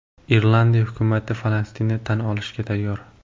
Irlandiya hukumati Falastinni tan olishga tayyor.